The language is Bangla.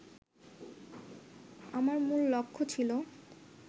আমার মূল লক্ষ্য ছিল